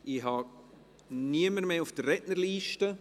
Ich habe niemanden mehr auf der Rednerliste.